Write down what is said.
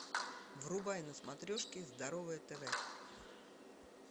врубай на смотрешке здоровое тв